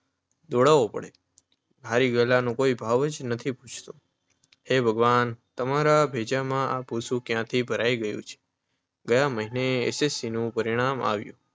દોડાવવો પડે. હારી ગયેલાનો કોઈ ભાવ પૂછતું નથી. હે ભગવાન! તમારા ભેજામાં ક્યાંથી આ ભૂસું ભરાયું છે? ગયે મહિને એસ. એસ. સી. નું પરિણામ આવ્યું.